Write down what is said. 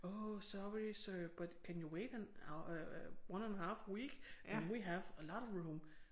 Oh sorry sir but can you wait an øh one and a half week? Then we have a lot of room